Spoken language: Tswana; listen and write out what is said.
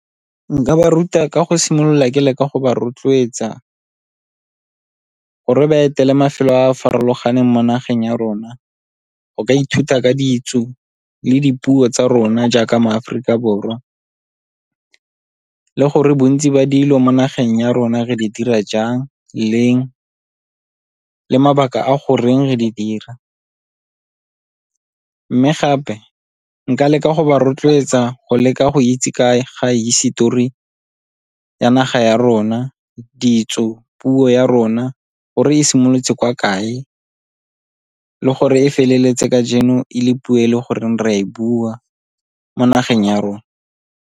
Nka ba ruta ka go simolola ke leka go ba rotloetsa gore ba etele mafelo a a farologaneng mo nageng ya rona go ka ithuta ka ditso le dipuo tsa rona jaaka maAforikaBorwa, le gore bontsi ba dilo mo nageng ya rona re di dira jang leng le mabaka a goreng re di dira. Mme gape nka leka go ba rotloetsa go leka go itse ka ga hisetori ya naga ya rona, ditso, puo ya rona gore e simolotse kwa kae le gore e feleletse kajeno e le puo e le goreng re a e bua mo nageng ya rona.